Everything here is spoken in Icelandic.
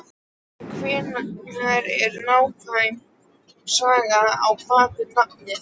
En hver er nákvæm saga á bakvið nafnið?